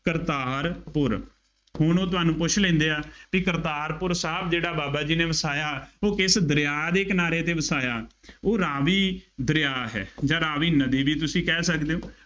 ਕਰਤਾਰਪੁਰ, ਹੁਣ ਉਹ ਤੁਹਾਨੂੰ ਪੁੱਛ ਲੈਂਦੇ ਆ, ਬਈ ਕਰਤਾਰਪੁਰ ਸਾਹਿਬ ਜਿਹੜਾ ਬਾਬਾ ਜੀ ਨੇ ਵਸਾਇਆ ਉਹ ਕਿਸ ਦਰਿਆ ਦੇ ਕਿਨਾਰੇ ਤੇ ਵਸਾਇਆ, ਉਹ ਰਾਵੀ ਦਰਿਆ ਹੈ ਜਾਂ ਰਾਵੀ ਨਦੀ ਵੀ ਤੁਸੀਂ ਕਹਿ ਸਕਦੇ ਹੋ।